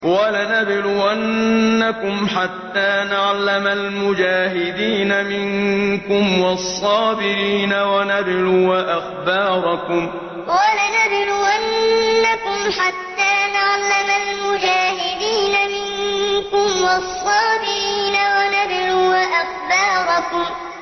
وَلَنَبْلُوَنَّكُمْ حَتَّىٰ نَعْلَمَ الْمُجَاهِدِينَ مِنكُمْ وَالصَّابِرِينَ وَنَبْلُوَ أَخْبَارَكُمْ وَلَنَبْلُوَنَّكُمْ حَتَّىٰ نَعْلَمَ الْمُجَاهِدِينَ مِنكُمْ وَالصَّابِرِينَ وَنَبْلُوَ أَخْبَارَكُمْ